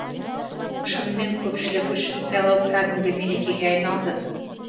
шынымен көпшілік үшін сайлау кәдімгі мерекеге айналды